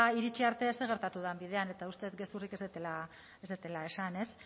iritsi arte zer gertatu dan bidean eta uste dut gezurrik ez dudala esan ez